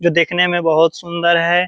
जो देखने में बहुत सुंदर है।